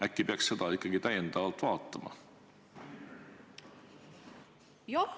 Äkki peaks seda ikkagi täiendavalt vaatama?